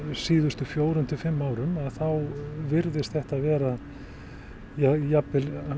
síðustu fjórum til fimm árum þá virðist þetta vera jafnvel